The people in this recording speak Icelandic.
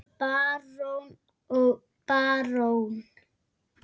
Barón og barón